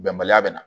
Bɛnbaliya bɛ na